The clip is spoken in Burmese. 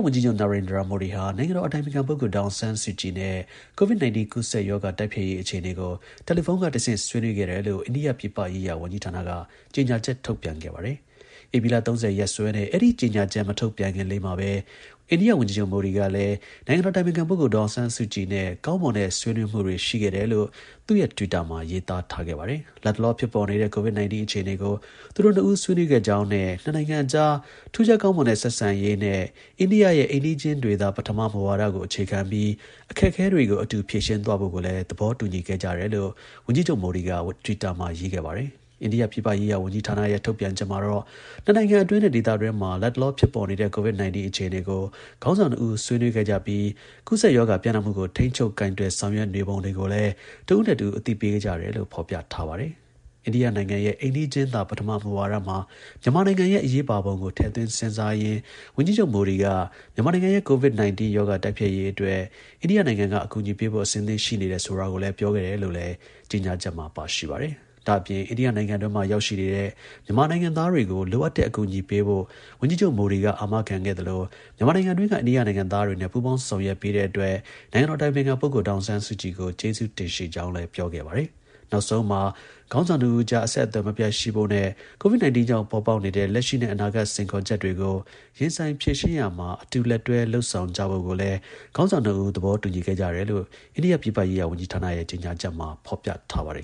ဝန်ကြီးချုပ် Narendra Modi ဟာ နိုင်ငံတော် အတိုင်ပင်ခံ ပုဂ္ဂိုလ် ဒေါ်အောင်းဆန်းစုကြည် နဲ့ COVID-19 ကူးစက် ရောဂါ တိုက်ဖျက်ရေး အခြေအနေကို တယ်လီဖုန်းကတဆင့် ဆွေးနွေးခဲ့တယ်လို့ အိန္ဒိယ ပြည်ပရေးရာဝန်ကြီးဌာနက ကြေညာချက် ထုတ်ပြန် ခဲ့ပါ တယ်။ ဧပြီလ ၃၀ ရက်စွဲနဲ့ အဲဒီ ကြေညာချက် မထုတ်ပြန်ခင်လေးမှာပဲ အိန္ဒိယ ဝန်ကြီးချုပ် Modi က နိုင်ငံတော် အတိုင်ပင်ခံ ပုဂ္ဂိုလ် ဒေါ်အောင်ဆန်းစုကြည် နဲ့ ကောင်းမွန်တဲ့ဆွေးနွေးမှု ရှိခဲ့တယ်လို့ သူ့ရဲ့တွစ်တာမှာ ရေးထားခဲ့ပါတယ်။ လတ်တလော ဖြစ်ပေါ်နေတဲ့ COVID-19 အခြေအနေကို သူတို့ ၂ ဦး ဆွေးနွေးခဲ့ကြောင်းနဲ့ နှစ်နိုင်ငံအကြား ထူးခြား ကောင်းမွန်တဲ့ ဆက်ဆံရေးနဲ့ အိန္ဒိယရဲ့ အိမ်နီးချင်းတွေသာ ပထမ မူဝါဒကို အခြေခံပြီး အခက်အခဲတွေကို အတူ ဖြေရှင်းသွားဖို့ကိုလည်း သဘောတူခဲ့ကြတယ်လို့ ဝန်ကြီးချုပ် Modi က တွစ်တာမှာ ရေးခဲ့ပါတယ်။ အိန္ဒိယပြည်ပရေးရာ ဝန်ကြီးဌာနရဲ့ ထုတ်ပြန်ချက်မှာတော့ နှစ်နိုင်ငံအတွင်းနဲ့ ဒေသတွင်းမှာ လတ်တလော ဖြစ်ပေါ်နေတဲ့ COVID-19 အခြေအနေကို ခေါင်းဆောင် ၂ဦး ဆွေးနွေးခဲ့ကြပြီး ကူးစက်ရောဂါ ပျံ့နှံ့မှုကို ထိန်းချုပ် ကိုင်တွယ်ဆောင်ရွက်နေပုံတွေကိုလည်း တစ်ဦးနဲ့ တစ်ဦး အသိပေးခဲ့ကြတယ်လို့ ဖော်ပြထားပါတယ်။ အိန္ဒိယရဲ့ အိမ်နီးချင်းသာ ပထမ မူဝါဒမှာ မြန်မာနိုင်ငံရဲ့ အရေးပါပုံကို ထည့်သွင်းစဉ်းစားရင်း ဝန်ကြီးချုပ် Modi က မြန်မာနိုင်ငံရဲ့ COVID-19 ရောဂါ တိုက်ဖျက်ရေးအတွက် အိန္ဒိယနိုင်ငံက အကူအညီပေးဖို့ အဆင့်သင့်ရှိတယ်ဆိုတာကိုလည်း ပြောခဲ့တယ်လို့လည်း ကြေညာချက် မှာ ပါရှိပါတယ်။ ဒါ့အပြင် အိန္ဒိယနိုင်ငံတွင်းမှာ ရောက်ရှိနေတဲ့ မြန်မာနိုင်ငံသားတွေကို လိုအပ်တဲ့ အကူအညီပေးဖို့ ဝန်ကြီးချုပ် Modi က အာမခံခဲ့သလို မြန်မာနိုင်ငံတွင်းက အိန္ဒိယနိုင်ငံသားတွေနဲ့ ပူးပေါင်း ဆောင်ရွက်ပေးတဲ့အတွက် နိုင်ငံတော် အတိုင်ပင်ခံ ပုဂ္ဂိုလ် ဒေါ်အောင်ဆန်းစုကြည် ကို ကျေးဇူးတင်ရှိကြောင်း ပြောခဲ့ပါတယ်။ နောက်ဆုံးမှာ ခေါင်းဆောင် ၂ဦးအကြား အဆက်အသွယ် မပြတ်ရှိဖို့နဲ့ COVID-19 ကြောင့် ပေါ်ပေါက်နေတဲ့ လက်ရှိနဲ့ အနာဂါတ် စိန်ခေါ် ချက်တွေကို ရင်ဆိုင်ဖြေရှင်းရာမှာ အတူ လက်တွဲ လုပ်ဆောင်ကြဖို့ကိုလည်း ခေါင်းဆောင် ၂ ဦး သဘောတူညီခဲ့ကြတယ်လို့ အိန္ဒိယ ပြည်ပရေးရာ ဝန်ကြီးဌာနရဲ့ ကြေညာချက်မှာ ဖော်ပြထားပါတယ်